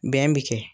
Bɛn bi kɛ